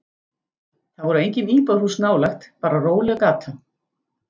Það voru engin íbúðarhús nálægt, bara róleg gata.